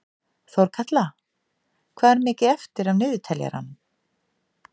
Þórkatla, hvað er mikið eftir af niðurteljaranum?